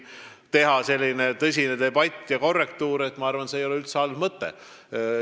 Tõsine debatt ja korrektuur ei ole üldse halb mõte.